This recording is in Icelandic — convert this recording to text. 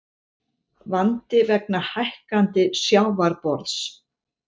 Vandi vegna hækkandi sjávarborðs